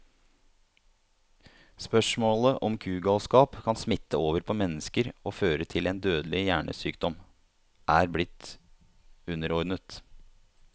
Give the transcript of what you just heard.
Spørsmålet om kugalskap kan smitte over på mennesker og føre til en dødelig hjernesykdom, er blitt underordnet.